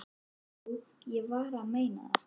Jú, ég er að meina það.